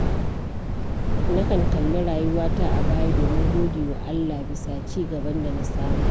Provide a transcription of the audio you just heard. Nakan kalli rayuwata a baya domin gode wa Allah bisa ci gaban da na samu.